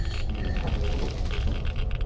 я искупаюсь потом напишу